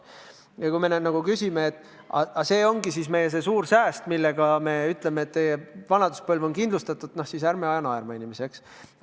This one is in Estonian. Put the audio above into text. Kui me nüüd küsime, kas see ongi nende suur sääst, millega vanaduspõlv on kindlustatud – noh, ärme ajame inimesi naerma, eks.